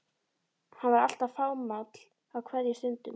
Hann var alltaf fámáll á kveðjustundum.